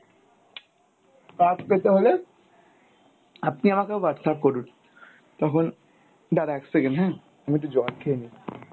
কাজ পেতে হলে আপনি আমাকে Whatsapp করুন। তখন, দাড়া এক second হ্যাঁ আমি একটু জল খেয়ে নি।